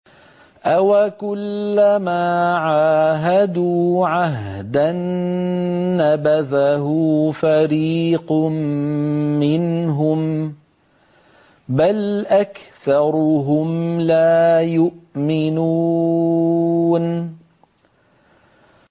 أَوَكُلَّمَا عَاهَدُوا عَهْدًا نَّبَذَهُ فَرِيقٌ مِّنْهُم ۚ بَلْ أَكْثَرُهُمْ لَا يُؤْمِنُونَ